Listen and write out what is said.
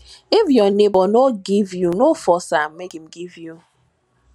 if your neighbor no give you no force am make im give you